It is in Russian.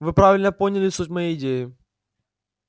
вы правильно поняли суть моей идеи